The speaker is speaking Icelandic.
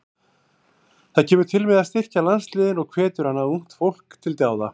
Það kemur til með að styrkja landsliðin og hvetur annað ungt fólk til dáða.